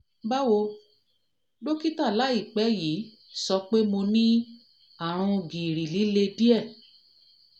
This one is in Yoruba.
báwo dọ́kítà láìpẹ́ yìí dọ́kítà sọ pé mo ní àrùn gìrì líle díẹ̀ gìrì líle díẹ̀